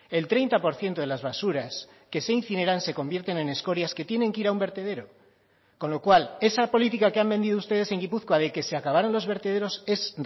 el treinta por ciento de las basuras que se incineran se convierten en escorias que tienen que ir a un vertedero con lo cual esa política que han vendido ustedes en gipuzkoa de que se acabaron los vertederos es